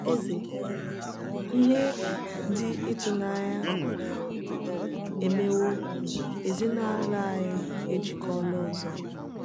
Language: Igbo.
Eze: Ihe dị ịtụnanya emewo—ezinụlọ anyị ejikọọla ọzọ!